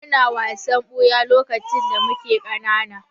Muna wasan ɓuya lokacin da muke ƙanana.